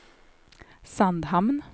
Sandhamn